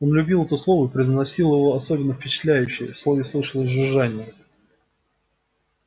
он любил это слово и произносил его особенно впечатляюще в слове слышалось жужжание